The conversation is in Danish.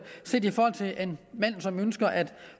ønsker at